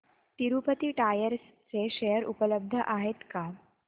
Tirupati tyres चे share उपलब्ध आहेत का